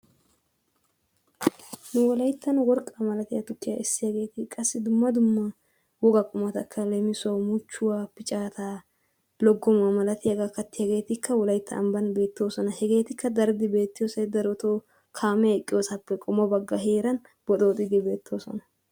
Nu wolayttan worqqaa malatiya tukkiyaa essiyaageeti qassi dumma dumma woga qumatakka, leemissuwawu muchchuwaa, piccaata, loggomuwa malatiyaaga kattiyaageetikka wolaytta ambban beettoosona. hegetikka daridi beettiyoosay darotoo kaamee eqqiyoosappe qommo baggaa heeran bixxooxidi beettoosona.